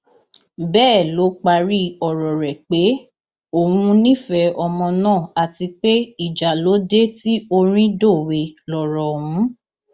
bẹẹ ló parí ọrọ rẹ pé òun nífẹẹ ọmọ náà àti pé ìjà ló dé tí orin dòwe lọrọ ọhún